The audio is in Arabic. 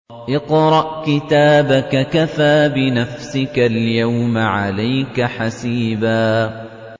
اقْرَأْ كِتَابَكَ كَفَىٰ بِنَفْسِكَ الْيَوْمَ عَلَيْكَ حَسِيبًا